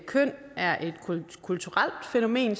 køn er et kulturelt fænomen